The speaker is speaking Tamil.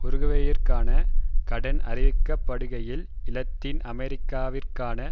உருகுவேயிற்கான கடன் அறிவிக்கப்படுகையில் இலத்தீன் அமெரிக்காவிற்கான